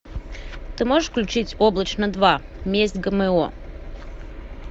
ты можешь включить облачно два месть гмо